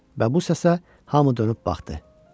Və bu səsə hamı dönüb baxdı.